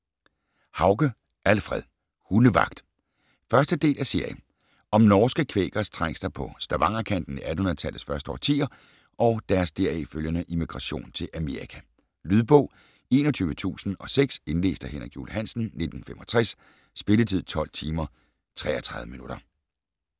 Hauge, Alfred: Hundevagt 1. del af serie. Om norske kvækeres trængsler på Stavangerkanten i 1800-tallets første årtier og deres deraf følgende immigration til Amerika. Lydbog 21006 Indlæst af Henrik Juul Hansen, 1965. Spilletid: 12 timer, 33 minutter.